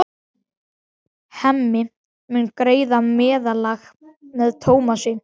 Hemmi mun greiða meðlag með Tómasi.